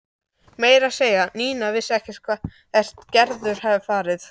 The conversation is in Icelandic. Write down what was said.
Meira að segja Nína vissi ekkert hvert Gerður hafði farið.